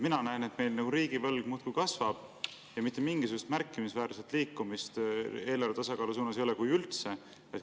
Mina näen, et meil riigivõlg muudkui kasvab ja mitte mingisugust märkimisväärset liikumist eelarve tasakaalu suunas ei ole, kui üldse.